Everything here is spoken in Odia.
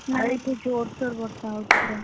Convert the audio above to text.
ଆଉ ଏଠି ଜୋରସୋର ବର୍ଷ ହଉଛି ପୁରା,